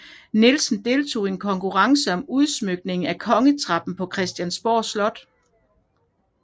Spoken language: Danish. Nielsen deltog i en konkurrence om udsmykningen af kongetrappen på Christiansborg Slot